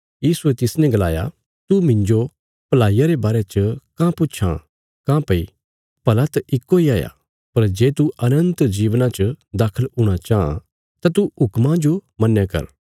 यीशुये तिसने गलाया तू मिन्जो भलाईया रे बारे च काँह पुच्छां काँह्भई अच्छा त परमेशर इ हाया पर जे तू अनन्त जीवना च दाखल हूणा चाँह तां तू हुक्मां जो मन्नया कर